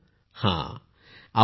पूनम नौटियालः हांजी